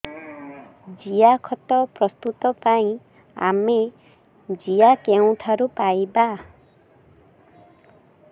ଜିଆଖତ ପ୍ରସ୍ତୁତ ପାଇଁ ଆମେ ଜିଆ କେଉଁଠାରୁ ପାଈବା